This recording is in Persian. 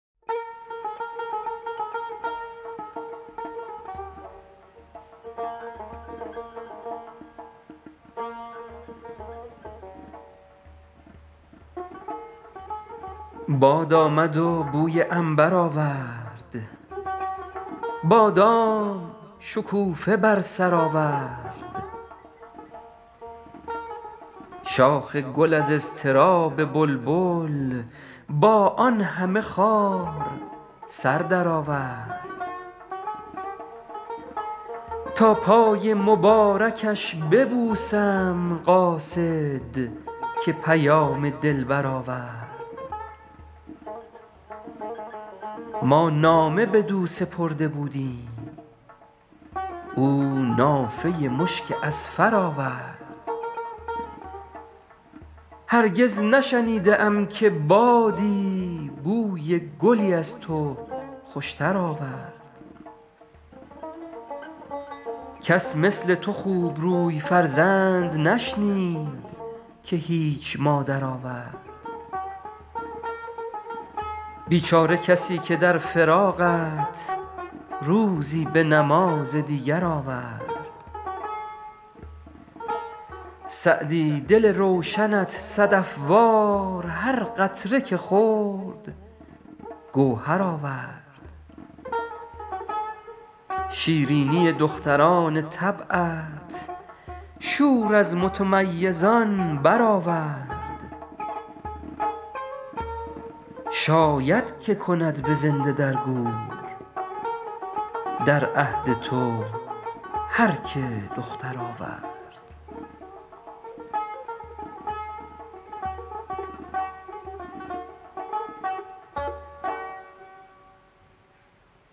باد آمد و بوی عنبر آورد بادام شکوفه بر سر آورد شاخ گل از اضطراب بلبل با آن همه خار سر درآورد تا پای مبارکش ببوسم قاصد که پیام دلبر آورد ما نامه بدو سپرده بودیم او نافه مشک اذفر آورد هرگز نشنیده ام که بادی بوی گلی از تو خوشتر آورد کس مثل تو خوبروی فرزند نشنید که هیچ مادر آورد بیچاره کسی که در فراقت روزی به نماز دیگر آورد سعدی دل روشنت صدف وار هر قطره که خورد گوهر آورد شیرینی دختران طبعت شور از متمیزان برآورد شاید که کند به زنده در گور در عهد تو هر که دختر آورد